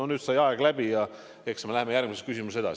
Nüüd sai aeg läbi, eks me läheme järgmise küsimusega edasi.